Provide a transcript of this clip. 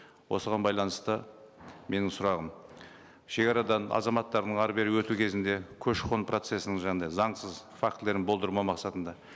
осыған байланысты менің сұрағым шегарадан азаматтардың әрі бері өту кезінде көші қон процесін жаңағындай заңсыз фактілерін болдырмау мақсатында